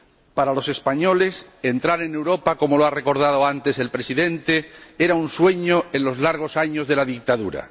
Para los españoles, entrar en Europa como lo ha recordado antes el Presidente era un sueño en los largos años de la dictadura.